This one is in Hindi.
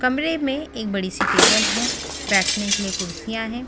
कमरे में एक बड़ी सी टेबल है बैठने के लिए कुर्सियां हैं।